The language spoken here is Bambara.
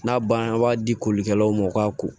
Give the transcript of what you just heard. N'a banna an b'a di kolikɛlaw ma u k'a ko